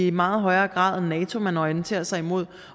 i meget højere grad er nato man orienterer sig mod